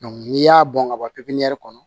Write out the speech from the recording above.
n'i y'a bɔn ka bɔ kɔnɔ